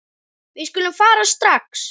Við skulum fara strax.